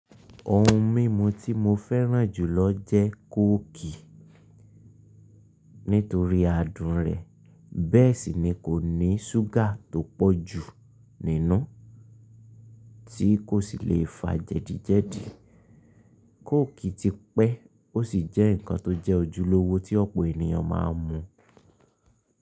Ohun mímu tí mo fẹ́ràn jùlọ jẹ́ kóòkì nítorí adùn rẹ̀ bẹ́ẹ̀ sì ni kò ní ṣúgà tó pọ̀ jù nínú tí kò sì le fa jẹdíjẹdí. Kóòkì ti pẹ́ ó sì jẹ́ ǹkan tó jẹ́ ojúlówó tí ọ̀pọ̀ ènìyàn máa ń mu.